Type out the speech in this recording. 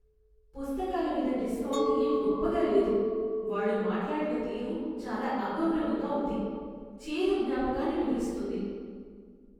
పుస్తకాల మీద డిస్కౌంట్ ఏం గొప్పగా లేదు, వాళ్ళు మాట్లాడిన తీరు చాలా అగౌరవంగా ఉంది. చేదు జ్ఞాపకాన్ని మిగులుస్తుంది.